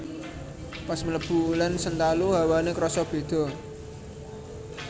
Pas mlebu Ulen Sentalu hawane kroso bedo